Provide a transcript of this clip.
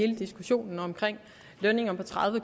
hele diskussionen om lønninger på tredive